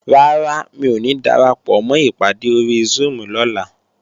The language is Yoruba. Rárá, mi ò ní darapọ̀mọ́ ìpàdé ori Zoom lọ́la